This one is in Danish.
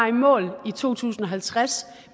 i mål i to tusind og halvtreds